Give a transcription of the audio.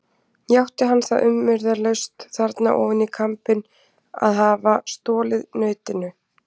Játti hann það umyrðalaust þarna ofan í kambinn að hafa stolið nautinu.